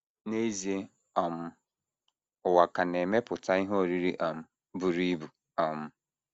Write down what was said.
N’ezie, um ụwa ka na - emepụta ihe oriri um buru ibu. um